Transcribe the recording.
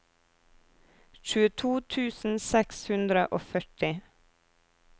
tjueto tusen seks hundre og førti